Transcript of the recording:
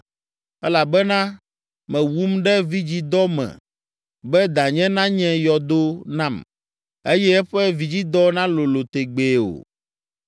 elabena mewum ɖe vidzidɔ me be danye nanye yɔdo nam, eye eƒe vidzidɔ nalolo tegbee o.